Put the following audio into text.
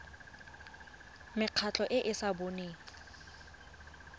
mekgatlho e e sa boneng